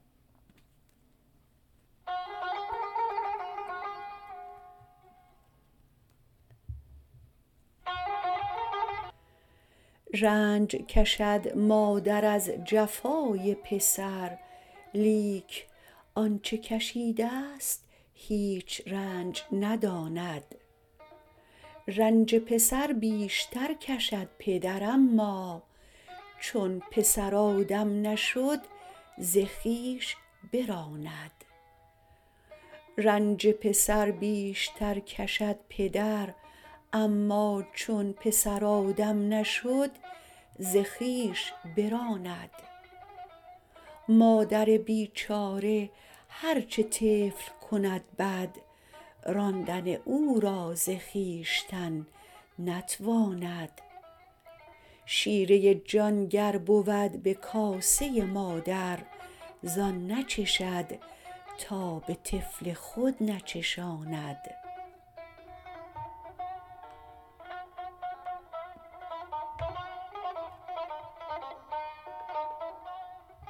رنج کشد مادر از جفای پسر لیک آنچه کشیدست هیچ رنج نداند رنج پسر بیشتر کشد پدر اما چون پسر آدم نشد ز خویش براند مادر بیچاره هر چه طفل کند بد راندن او را ز خویشتن نتواند شیرۀ جان گر بود به کاسۀ مادر زان نچشد تا به طفل خود نچشاند